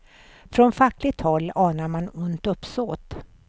Från fackligt håll anar man ont uppsåt.